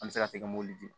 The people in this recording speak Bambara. An bɛ se ka tɛgɛ m'olu dun